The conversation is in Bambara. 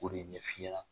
K'o de ɲɛf'i ɲɛna